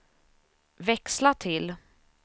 växla till